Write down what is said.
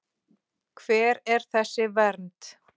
Hver er þessi vernd?